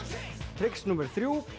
trix númer þrjú